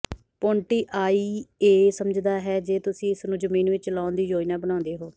ਪੋਂਟੀਆਈਏ ਸਮਝਦਾ ਹੈ ਜੇ ਤੁਸੀਂ ਇਸ ਨੂੰ ਜ਼ਮੀਨ ਵਿਚ ਚਲਾਉਣ ਦੀ ਯੋਜਨਾ ਬਣਾਉਂਦੇ ਹੋ